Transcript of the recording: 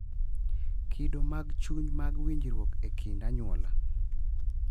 Kido mag chuny mag winjruok e kind anyuola